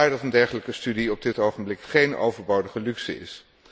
Vandaar dat een dergelijke studie op dit ogenblik geen overbodige luxe is.